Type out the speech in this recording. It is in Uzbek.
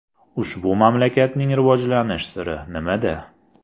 Ushbu mamlakatning rivojlanish siri nimada?.